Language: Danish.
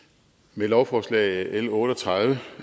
med lovforslag l otte og tredive